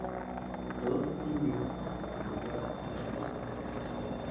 Tos tinyei maget ingiro?